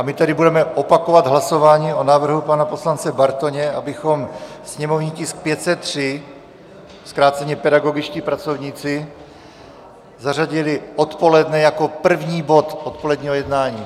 A my tedy budeme opakovat hlasování o návrhu pana poslance Bartoně, abychom sněmovní tisk 503, zkráceně pedagogičtí pracovníci, zařadili odpoledne jako první bod odpoledního jednání.